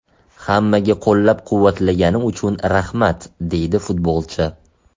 Hammaga qo‘llab-quvvatlagani uchun rahmat”, deydi futbolchi.